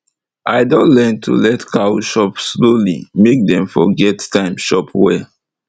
i don learn to let cow chop slowly make dem for get time chop well